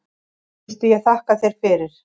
Gísli ég þakka þér fyrir.